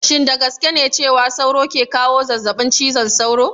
Shin da gaske ne cewa sauro ke kawo zazzabin cizon sauro?